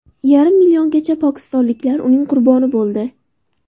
Yarim milliongacha pokistonliklar uning qurboni bo‘ldi.